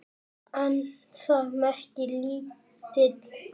En það merkir lítil alda.